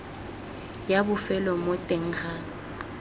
ya bofelo mo teng ga